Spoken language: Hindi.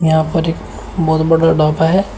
यहां पर एक बहुत बड़ा ढाबा है।